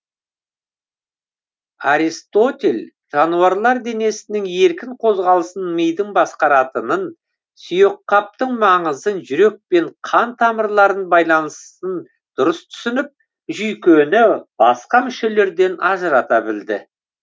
аристотель жануарлар денесінің еркін қозғалысын мидың басқаратынын сүйекқаптың маңызын жүрек пен қан тамырларын байланысын дұрыс түсініп жүйкені басқа мүшелерден ажырата білді